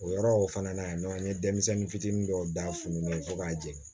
O yɔrɔ o fana na yan nɔ an ye denmisɛnnin fitinin dɔw d'a funtɛni fo k'a jɛ